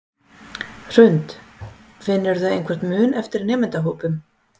Hrund: Finnurðu einhvern mun eftir nemendahópum?